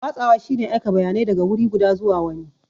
Watsawa shine aika bayanai daga wuri guda zuwa wani.